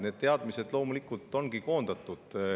Need teadmised loomulikult ongi koondatud.